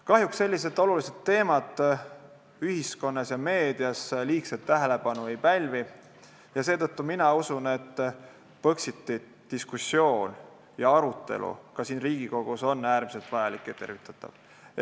Kahjuks sellised olulised teemad ühiskonnas ja meedias liigset tähelepanu ei pälvi, seetõttu ma usun, et Põxiti diskussioon ja arutelu ka siin Riigikogus on äärmiselt vajalik ja tervitatav.